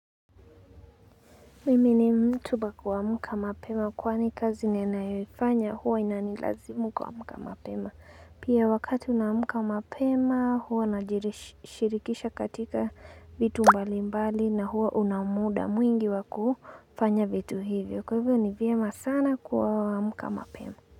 Mimi ni mtu wa kuamka mapema kwani kazi ninayoifanya huwa inanilazimu kuamka mapema. Pia wakati unaamka mapema huwa najirishirikisha katika vitu mbali mbali na huwa una muda mwingi wa ku fanya vitu hivyo. Kwa hivyo ni vyema sana kuamka mapema.